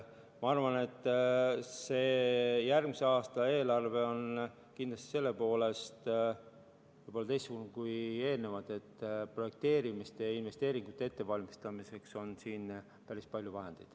Ma arvan, et järgmise aasta eelarve on selle poolest võib-olla teistsugune kui eelnevad, et projekteerimiste ja investeeringute ettevalmistamiseks on siin päris palju vahendeid.